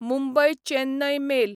Mumbai Chennai mail